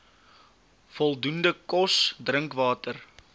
voldoende kos drinkwater